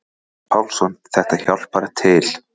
Örn Pálsson: Þetta hjálpar til.